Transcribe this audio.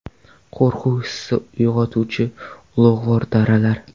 Qo‘rquv hissini uyg‘otuvchi ulug‘vor daralar .